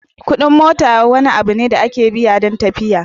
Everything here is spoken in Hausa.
Kuɗin mota abu ne da ake biya don tafiya.